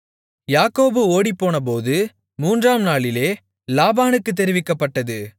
யாக்கோபு ஓடிப்போனது மூன்றாம் நாளிலே லாபானுக்கு தெரிவிக்கப்பட்டது